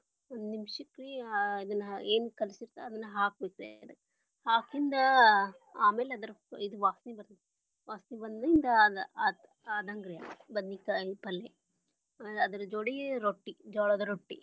ಒಂದ್ ನಿಮಿಷಕ್ಕರಿ ಇದನ್ನ ಏನ ಕಲಿಸಿರತೆವಲ್ಲ ಅದನ್ನ ಹಾಕಿಬೇಕ ಹಾಕಿಂದ ಆಮೇಲೆ ಅದರದ ಇದು ವಾಸನಿ ಬರ್ತೇತಿ ವಾಸನಿ ಬಂದಿಂದ ಅದ ಆದಂಗರಿ, ಬದನಿಕಾಯಿ ಪಲ್ಲೆ, ಅದರ ಜೋಡಿ ರೊಟ್ಟಿ ಜ್ವಾಳದ ರೊಟ್ಟಿ.